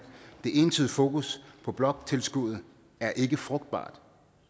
det entydige fokus på bloktilskuddet er ikke frugtbart